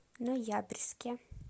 ноябрьске